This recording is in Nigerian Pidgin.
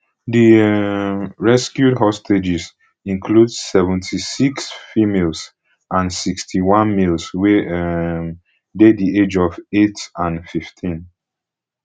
di um rescued hostages include seventy-six females and sixty-one males wey um dey di age of eight and fifteen